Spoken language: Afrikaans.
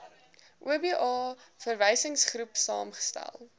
oba verwysingsgroep saamgestel